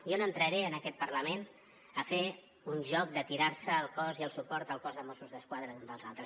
jo no entraré en aquest parlament a fer un joc de tirar se el cos i el suport al cos de mossos d’esquadra d’un dels altres